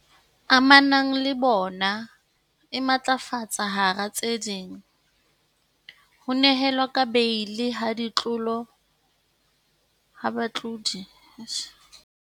Amanang le bona e matlafatsa hara tse ding, ho nehelwa ka beili ha batlodi ba molao wa GBVF, hape o nehelana ka katoloso ya hore ditlolo tsena di behelwe bonyane bo itseng ba dikotlo.